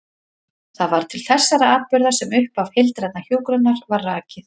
Það var til þessara atburða sem upphaf heildrænnar hjúkrunar var rakið.